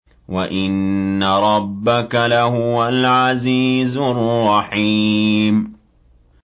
وَإِنَّ رَبَّكَ لَهُوَ الْعَزِيزُ الرَّحِيمُ